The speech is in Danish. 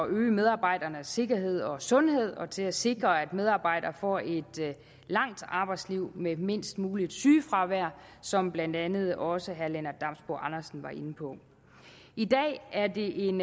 øge medarbejdernes sikkerhed og sundhed og til at sikre at medarbejderne får et langt arbejdsliv med mindst muligt sygefravær som blandt andet også herre lennart damsbo andersen var inde på i dag er det en